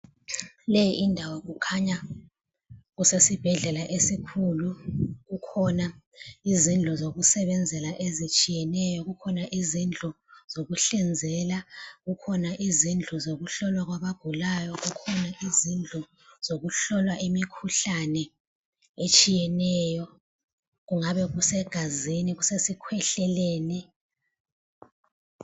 Le indawo kukhanya kusesibhedlela esikhulu. Kukhona izindlu zokusebenzela ezitshiyeneyo. Kukhona izindlu zokuhlinzela, kukhona izindlu zokuhlolwa kwabagulayo, kukhona izindlu zokuhlola imikhuhlane etshiyeneyo. Kungabe kusegazini, kusesikhwehleleni.